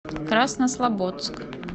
краснослободск